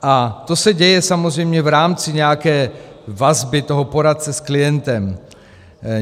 A to se děje samozřejmě v rámci nějaké vazby toho poradce s klientem.